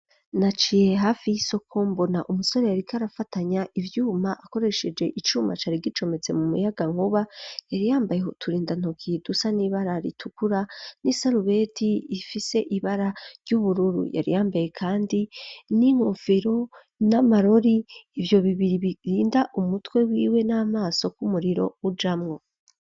Naciye hafi y'isoko mbona umusore yariko arafatanya ivyuma akoresheje icumacare gicometse mu muyaga nkoba yariyambaye hutura indantoki dusa n'ibara ritukura n'i salubeti ifise ibara ry'ubururu yariyambaye, kandi n'ingofero n'amarori ivyo bibiri birinda umutwe we wiwe n'amaso k'umuriro ujamwo.